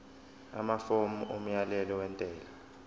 amafomu omyalelo wentela